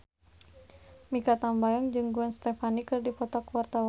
Mikha Tambayong jeung Gwen Stefani keur dipoto ku wartawan